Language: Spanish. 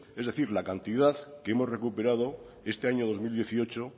es decir la cantidad que hemos recuperado este año dos mil dieciocho